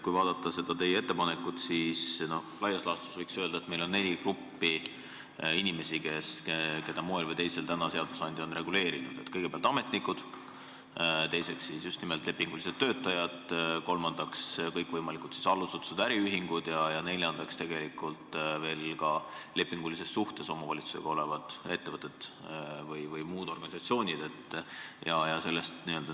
Kui vaadata teie ettepanekut, siis laias laastus võib öelda, et meil on neli gruppi inimesi, kelle puhul moel või teisel on täna olemas seadusandja regulatsioon: kõigepealt ametnikud, teiseks just nimelt lepingulised töötajad, kolmandaks need, kes on tööl kõikvõimalikes allasutustes ja äriühingutes, ning neljandaks tegelikult need, kes on tööl omavalitsusega lepingulises suhtes olevates ettevõtetes või muudes organisatsioonides.